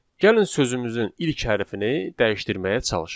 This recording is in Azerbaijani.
Gəlin sözümüzün ilk hərfini dəyişdirməyə çalışaq.